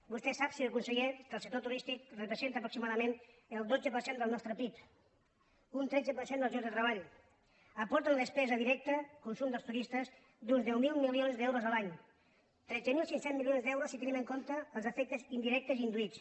vostè sap senyor conseller que el sector turístic re·presenta aproximadament el dotze per cent del nostre pib un tretze per cent dels llocs de treball aporta una despesa directa consum dels turistes d’uns deu mil milions d’euros a l’any tretze mil cinc cents milions d’euros si te·nim en compte els efectes indirectes i induïts